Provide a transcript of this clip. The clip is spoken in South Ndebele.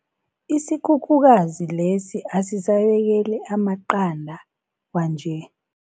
Isikhukhukazi lesi asisabekeli amaqanda kwanje.